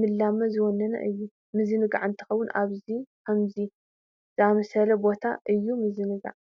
ልምላመ ዝወነነ እዩ፡፡ ምዝንጋዕ እንተኾይኑ ኣብ ከምዚ ዝኣምሰለ ቦታ እዩ ምዝንጋዕ፡፡